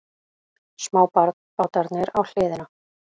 Smábátarnir á hliðina.